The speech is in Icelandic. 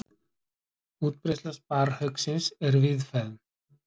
útbreiðsla sparrhauksins er víðfeðm